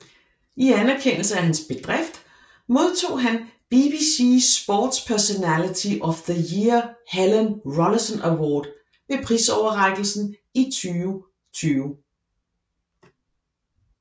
I anerkendelse af hans bedrift modtog han BBC Sports Personality of the Year Helen Rollason Award ved prisoverrækkelsen i 2020